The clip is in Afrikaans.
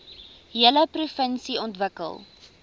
hele provinsie ontwikkel